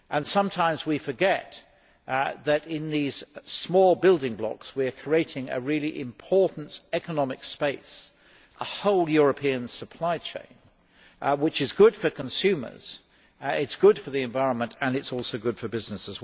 Sometimes we forget that in these small building blocks we are creating a very important economic space, a whole European supply chain which is good for consumers, good for the environment and is also good for business.